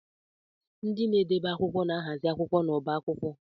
Ndị na-edebe akwụkwọ na-ahazi akwụkwọ n'ọbá akwụkwọ